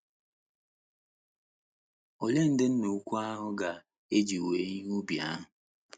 Olee ndị Nna Ukwu ahụ ga - eji wee ihe ubi ahụ?